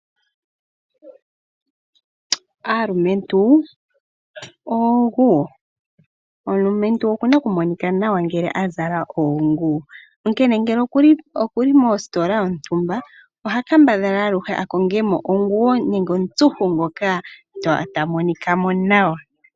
Aalumentu oonguwo, omulumentu oku na okumonika nawa ngele azala oonguwo. Onkene ngele okuli mositola yontumba oha kambadha aluhe a konge mo onguwo nenge omutsuhu ngoka ta monika mo nawa.